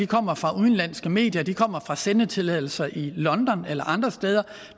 kommer fra udenlandske medier de kommer fra sendetilladelser i london eller andre steder